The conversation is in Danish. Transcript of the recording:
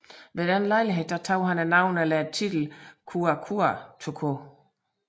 Ved den lejlighed tog han navnet eller titlen Chuqualataqu